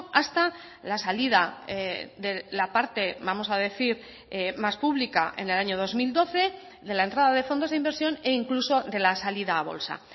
hasta la salida de la parte vamos a decir más pública en el año dos mil doce de la entrada de fondos de inversión e incluso de la salida a bolsa